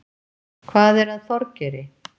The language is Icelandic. Hvað er að Þorgeiri?